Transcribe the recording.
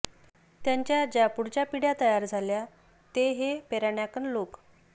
त्यांच्या ज्या पुढच्या पिढ्या तयार झाल्या ते हे पेरानाकॅन लोक